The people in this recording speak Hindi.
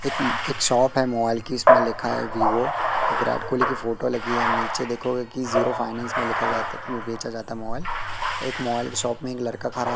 एक एक शॉप है मोबाइल की इसमें लिखा है वीवो और विराट कोहली की फोटो लगी है नीचे देखोग़े की जीरो फाइनेंस में लिखा जाता बेचा जाता है मोबाइल एक मोबाइल की शॉप में एक लड़का खरा है।